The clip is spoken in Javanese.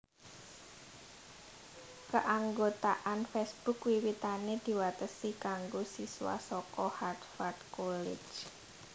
Kaanggotaan Facebook wiwitané diwatesi kanggo siswa saka Harvard College